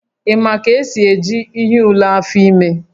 Ị maara ka esi eji ihe ule afọ ime?